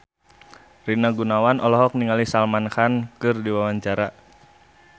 Rina Gunawan olohok ningali Salman Khan keur diwawancara